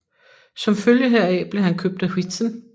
Som følge heraf blev han købt af Huizen